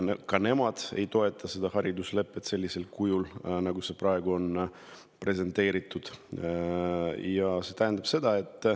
Ka nemad ei toeta hariduslepet sellisel kujul, nagu seda on presenteeritud.